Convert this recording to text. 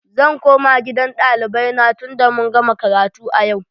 Zan koma gidan ɗalibai na tunda mun gama karatu a yau.